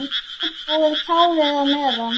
Útbúið kálið á meðan.